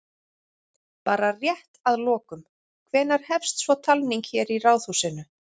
Bara rétt að lokum, hvenær hefst svo talning hér í Ráðhúsinu?